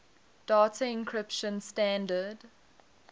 data encryption standard